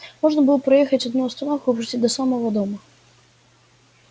можно было проехать одну остановку почти до самого дома